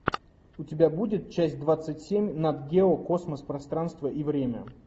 у тебя будет часть двадцать семь нат гео космос пространство и время